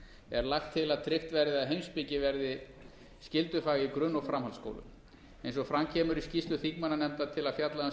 er lagt til að tryggt verði að heimspeki verði skyldufag í grunn og framhaldsskólum eins og fram kemur í skýrslu þingmannanefndar til að fjalla um